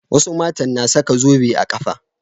Wasu matan na saka zobe a ƙafa.